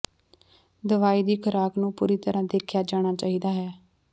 ਦਵਾਈ ਦੀ ਖੁਰਾਕ ਨੂੰ ਪੂਰੀ ਤਰ੍ਹਾਂ ਦੇਖਿਆ ਜਾਣਾ ਚਾਹੀਦਾ ਹੈ